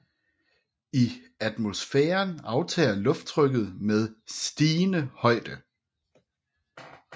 I atmosfæren aftager lufttrykket med stigende højde